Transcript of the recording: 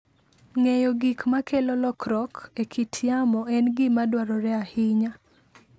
Ng'eyo gik makelo lokruok e kit yamo en gima dwarore ahinya.